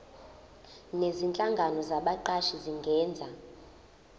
nezinhlangano zabaqashi zingenza